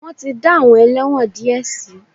Wọ́n ti dá àwọn ẹlẹ́wọ̀n díẹ̀ sí.